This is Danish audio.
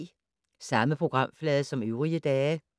Samme programflade som øvrige dage